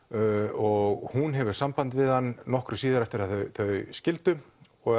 og hún hefur samband við hann nokkru síðar eftir að þau skildu og